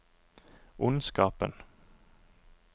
ondskapen